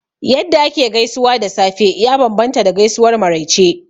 Yadda ake gaisuwa da safe ya bambanta da gaisuwar maraice